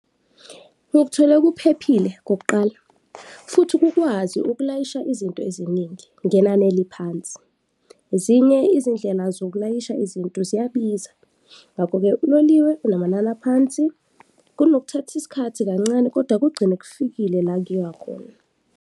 Ngikuthole kuphephile kokuqala futhi kukwazi ukulayisha izinto eziningi ngenani eliphansi. Ezinye izindlela zokulayisha izinto ziyabiza ngakho-ke uloliwe unamanani aphansi, kunokuthatha isikhathi kancane kodwa kugcine kufikile la kuyiwa khona.